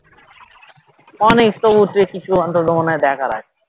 অনেক তবু . কিছু অন্তত মনে হয় দেখার আছে